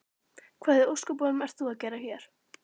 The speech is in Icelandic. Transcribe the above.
Hvað í ósköpunum ert þú að gera hér?